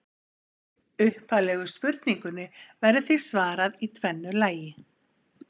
Upphaflegu spurningunni verður því svarað í tvennu lagi.